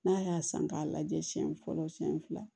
N'a y'a san k'a lajɛ siɲɛ fɔlɔ siyɛn fila